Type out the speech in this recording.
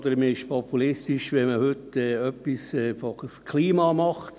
Man ist populistisch, wenn man heute etwas in Sachen Klima macht.